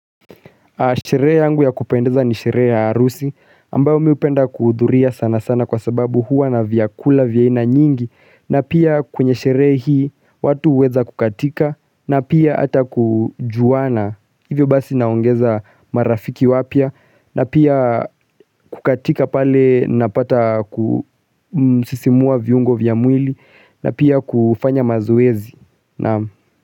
Sherehe yangu ya kupendeza ni sherehe ya arusi ambayo mi hupenda kudhuria sana sana kwasababu huwa na vyakula vya aina nyingi na pia kwenye sherehe hii watu uweza kukatika na pia hata kujuana hivyo basi naongeza marafiki wapya na pia kukatika pale napata kusisimua viungo vya mwili na pia kufanya mazoezi.